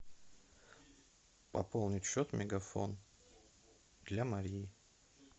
пополнить счет мегафон для марии